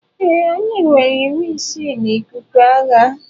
Ee, anyị nwere iwu isii na ikuku agha.